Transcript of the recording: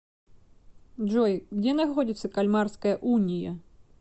джой где находится кальмарская уния